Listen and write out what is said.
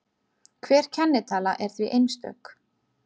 Hver kennitala er því einstök.